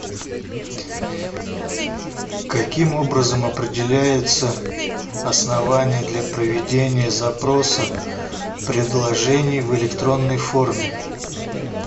каким образом определяются основания для проведения запроса предложений в электронной форме